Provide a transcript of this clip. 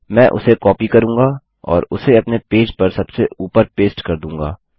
मैं उसे कॉपी करूँगा और उसे अपने पेज पर सबसे ऊपर पेस्ट कर दूँगा